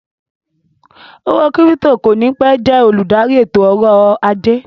Owó kírípítò kò ní pẹ́ jẹ́ olùdarí ètò ọ̀rọ̀ ajé